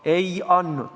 Ei andnud.